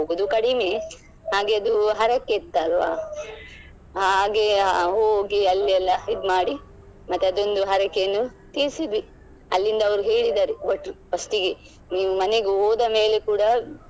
ಹೋಗುದು ಕಡಿಮೆ ಹಾಗೆ ಅದು ಹರಕೆ ಇತ್ತಲ್ವ ಹಾಗೆ ಹೋಗಿ ಅಲ್ಲಿ ಎಲ್ಲ ಇದ್ಮಾಡಿ ಮತ್ತೆ ಅದೊಂದು ಹರಕೆಯನ್ನು ತೀರಿಸಿದ್ವಿ ಅಲ್ಲಿಂದ ಅವರು ಹೇಳಿದ್ದಾರೆ ಭಟ್ರು first ಗೆ ನಿಮ್ಮನೆಗೆ ಹೋದ ಮೇಲೆ ಕೂಡ.